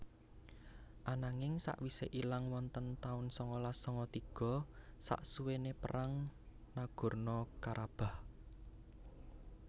Ananging sakwise ilang wonten tahun sangalas sanga tiga saksuwene perang Nagorno Karabakh